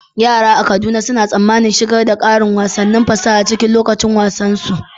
Yara a Kaduna suna tsammanin shigar da ƙarin wasannin fasaha cikin lokacin wasan su.